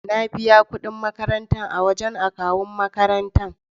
Na biya kudi makarantar a wajan akawun makarantar